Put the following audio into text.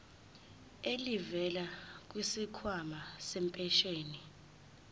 elivela kwisikhwama sempesheni